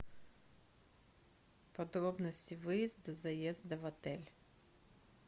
подробности выезда заезда в отель